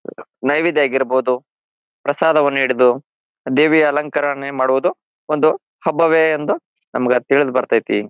ನೈವೇದ್ಯೆ ಆಗಿರ್ಬಹುದು ಪ್ರಸಾದ ವನ್ನು ಹಿಡಿದು ದೇವಿಯ ಅಲಂಕಾರ ಮಾಡುವುದು ಒಂದು ಹಬ್ಬವೇ ಎಂದು ನಮಗ್ ಅದ್ ತಿಳಿದ ಬರತೈತಿ.